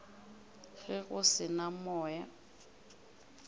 ge go se na moya